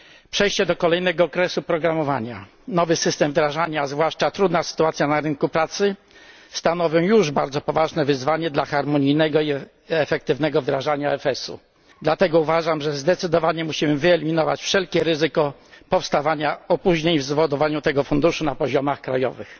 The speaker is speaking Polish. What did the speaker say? Przejście do kolejnego okresu programowania, nowy system wdrażania, a zwłaszcza trudna sytuacja na rynku pracy stanowią już bardzo poważne wyzwanie dla harmonijnego i efektywnego wdrażania EFS u, dlatego uważam, że zdecydowanie musimy wyeliminować wszelkie ryzyko powstawania opóźnień w zawiadowaniu tym funduszem na poziomach krajowych.